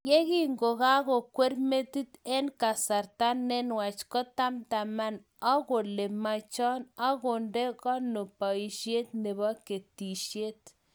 Yekingokakokwar metit eng kasarta ne nwach, kotamtaman akole machan agondekono boisiet nebo ketisiet